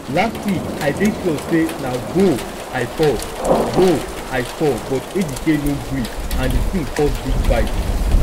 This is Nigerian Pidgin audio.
last week i dey sure say na goal i score goal i score but ejike no greeand the thing cause big fight